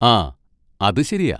ആ, അത് ശരിയാ.